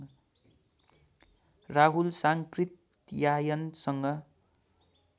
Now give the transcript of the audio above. Rahul साङ्कृत्यायनसँग